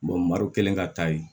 maru kelen ka taa yen